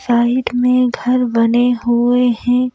Side में घर बने हुए हैं।